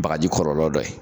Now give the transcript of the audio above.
Bagaji kɔlɔlɔ dɔ ye